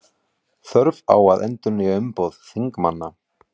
Þörf á að endurnýja umboð þingmanna